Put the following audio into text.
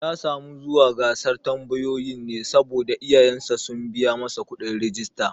Ya samu zuwa gasar tambayoyin ne saboda iyayen sa sun biya masa kuɗin rijista